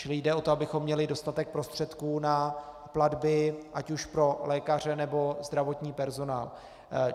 Čili jde o to, abychom měli dostatek prostředků na platby ať už pro lékaře, nebo zdravotní personál.